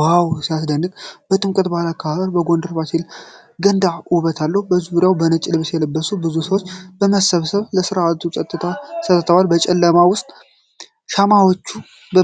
ዋው፣ ሲያስደንቅ! የጥምቀት በዓል አከባበር በጎንደር ፋሲለደስ ገንዳ ውበት አለው። በዙሪያው በነጭ ልብስ የለበሱ ብዙ ሰዎች በመሰብሰብ ለሥርዓቱ ጸጥታ ሰጥተዋል ። በጨለማው ውስጥ የሻማዎቹ